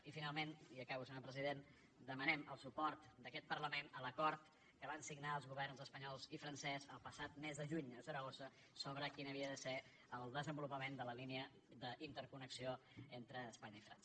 i finalment i acabo senyor president demanem el suport d’aquest parlament a l’acord que van signar els governs espanyol i francès el passat mes de juny a saragossa sobre quin havia de ser el desenvolupament de la línia d’interconnexió entre espanya i frança